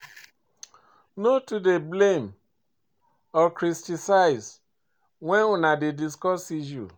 No too dey blame or criticize when una dey discuss issues.